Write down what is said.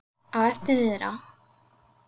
Á eftir niðrá